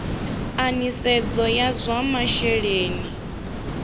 a nisedzo ya zwa masheleni